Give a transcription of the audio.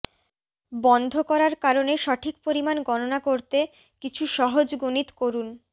বন্ধ করার কারণে সঠিক পরিমাণ গণনা করতে কিছু সহজ গণিত করুন